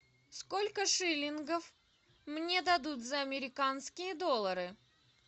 сколько шиллингов мне дадут за американские доллары